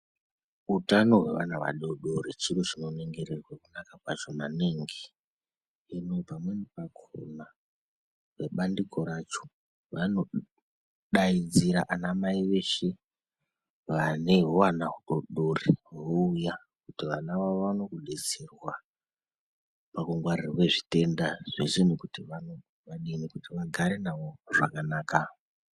Utano hwevana vadoodori chiro chinoningirirwe kunaka kwacho maningi. Hino pamweni pakhona webandiko racho wanodaidzira anamai weshe vane huvana hudoodori wouya kuti vana wavo waone kudetserwa pakungwarirwe zvitenda zveshe nekuti wadini kuti wagare navo zvakanaka.